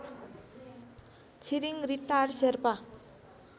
Tshering Ritar Sherpa